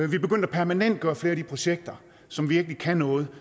vi er begyndt at permanentgøre flere af de projekter som virkelig kan noget